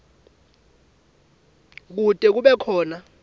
kute kube khona